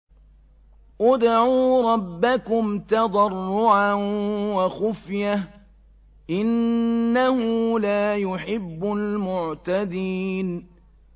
ادْعُوا رَبَّكُمْ تَضَرُّعًا وَخُفْيَةً ۚ إِنَّهُ لَا يُحِبُّ الْمُعْتَدِينَ